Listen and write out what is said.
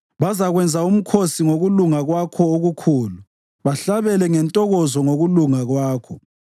Bazakwenza umkhosi ngokulunga kwakho okukhulu bahlabele ngentokozo ngokulunga kwakho.